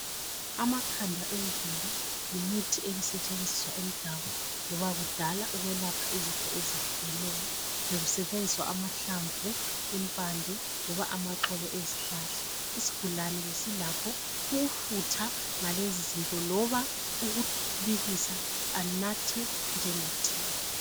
amakhada emvelo yimithi ebisetshenziswa emdabu loba kudala ukwelapha izifo ezehlukeneyo bekusetshenziswa amahlamvu impande loba amaxolo ezihlahla isigulane besilakho ukufutha ngalezizinto kloba ukubilisa anathe njenge tiye